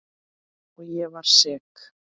Og ég var sek.